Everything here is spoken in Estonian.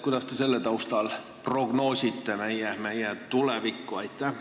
Kuidas te selle taustal prognoosite meie tulevikku?